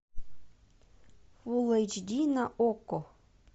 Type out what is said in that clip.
фул эйч ди на окко